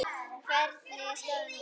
Hvernig er staðan núna?